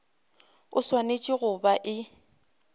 e swanetše go ba e